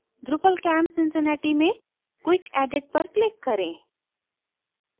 drupalcamp cincinnati में quick edit पर click करें